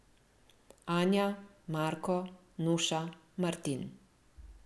Anja, Marko, Nuša, Martin.